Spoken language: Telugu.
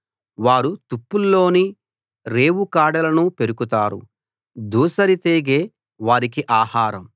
వారు తుప్పల్లోని రేవు కాడలను పెరుకుతారు దూసరి తీగె వారికి ఆహారం